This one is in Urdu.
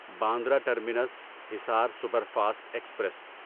Bandra terminus Hisar superfast express